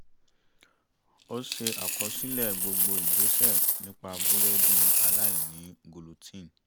ó ṣe àkọsílẹ̀ gbogbo ìgbésẹ̀ nípa búrẹ́dì aláìní gulutín